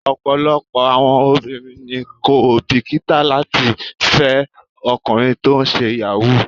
Ọ̀pọ̀lọpọ̀ àwọn obìnrin ni kò bìkítà láti fẹ́ ọkùnrin tó ń ṣe Yahoo.